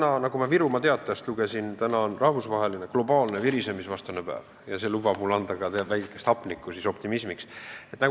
Aga nagu ma Virumaa Teatajast lugesin, täna on rahvusvaheline virisemisvastane päev ja see lubab mul optimismiks vähe hapnikku juurde anda.